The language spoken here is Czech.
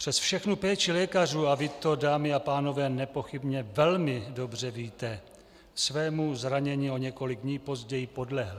Přes všechnu péči lékařů - a vy to, dámy a pánové, nepochybně velmi dobře víte - svému zranění o několik dní později podlehl.